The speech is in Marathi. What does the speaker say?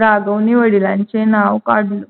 राघवने वडिलांचे नाव काढले.